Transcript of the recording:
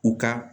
U ka